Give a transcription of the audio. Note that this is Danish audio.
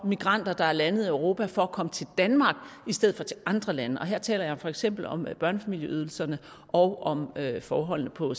migranter der er landet i europa for at komme til danmark i stedet for til andre lande og her taler jeg for eksempel om børnefamilieydelserne og om forholdene på